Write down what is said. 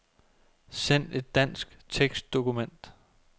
Send et dansk tekstdokument.